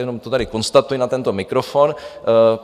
Jenom to tady konstatuji na tento mikrofon.